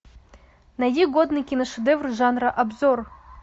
найди годный киношедевр жанра обзор